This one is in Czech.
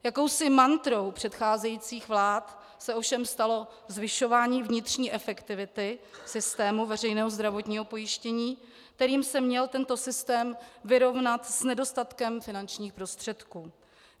Jakousi mantrou předcházejících vlád se ovšem stalo zvyšování vnitřní efektivity systému veřejného zdravotního pojištění, kterým se měl tento systém vyrovnat s nedostatkem finančních prostředků.